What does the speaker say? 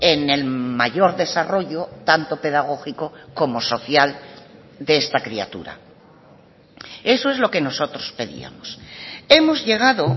en el mayor desarrollo tanto pedagógico como social de esta criatura eso es lo que nosotros pedíamos hemos llegado